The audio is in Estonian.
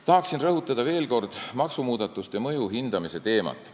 Tahan veel kord rõhutada maksumuudatuste mõju hindamise teemat.